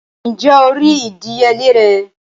Ǹjé o rí ìdíyelé rẹ̀?